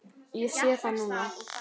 Ég sé það núna.